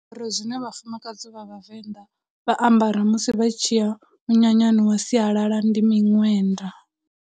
Zwine vhafumakadzi vha Vhavenda vha ambara musi vha tshi ya munyanyani wa sialala ndi miṅwenda.